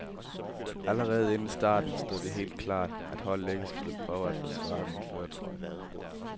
Allerede inden starten stod det helt klart, at holdet ikke skulle prøve at forsvare min førertrøje.